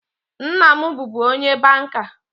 Nna m bụbu onye banka